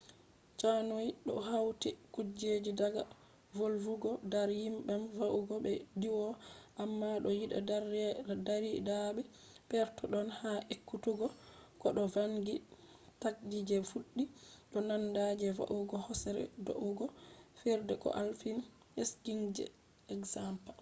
canoying do hauti kujeji daga vulugo dar diyam va’ugo be diwugo—amma do yida dardirabe perpeton ha ekkutugo koh do vangi takdi je be fuddi do nanda je va’ugo hosere do’ugo fijirde koh alpine skiing je example